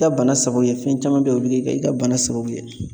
I ka bana sababu ye fɛn caman bɛ yen o bɛ kɛ i ka bana sababu ye.